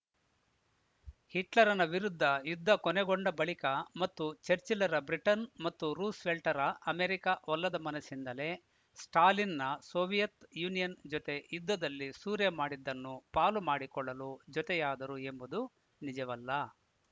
ಹಿಟ್ಲರನ ವಿರುದ್ಧ ಯುದ್ಧ ಕೊನೆಗೊಂಡ ಬಳಿಕ ಮತ್ತು ಚರ್ಚಿಲ್ಲರ ಬ್ರಿಟನ್‌ ಮತ್ತು ರೂಸ್‌ವೆಲ್ಟರ ಅಮೆರಿಕ ಒಲ್ಲದ ಮನಸ್ಸಿನಿಂದಲೇ ಸ್ಟಾಲಿನ್‌ನ ಸೋವಿಯತ್‌ ಯೂನಿಯನ್‌ ಜೊತೆ ಯುದ್ಧದಲ್ಲಿ ಸೂರೆ ಮಾಡಿದ್ದನ್ನು ಪಾಲು ಮಾಡಿಕೊಳ್ಳಲು ಜೊತೆಯಾದರು ಎಂಬುದು ನಿಜವಲ್ಲ